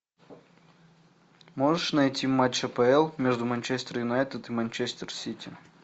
можешь найти матч апл между манчестер юнайтед и манчестер сити